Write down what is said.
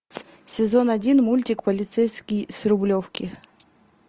сезон один мультик полицейский с рублевки